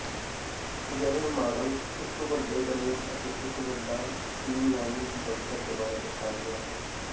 ਅਜਿਹੇ ਮਾਡਲ ਇੱਕ ਵੱਡੇ ਫਰੇਮ ਅਤੇ ਇੱਕ ਵੱਡਾ ਸਟ੍ਰੀਮਲਾਈਨ ਬਣਤਰ ਦੁਆਰਾ ਦਰਸਾਇਆ ਗਿਆ ਹੈ